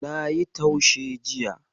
Nayi taushe jiya.